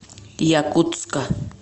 якутска